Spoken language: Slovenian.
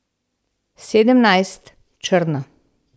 Sedemnajst, črna.